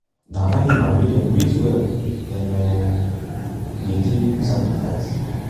na animal wey them raise well them um dey take do sacrifice. um